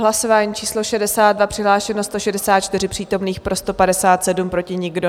Hlasování číslo 62, přihlášeno 164 přítomných, pro 157, proti nikdo.